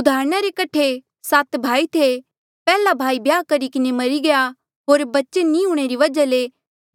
उदाहरणा रे कठे सात भाई थे पैहला भाई ब्याह करी किन्हें मरी गया होर बच्चे नी हूंणे री वजहा ले